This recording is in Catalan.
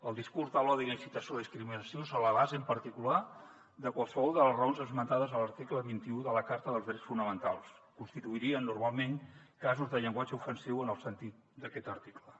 el discurs de l’odi i la incitació a la discriminació sobre la base en particular de qualsevol de les raons esmentades a l’article vint un de la carta dels drets fonamentals constituirien normalment casos de llenguatge ofensiu en el sentit d’aquest article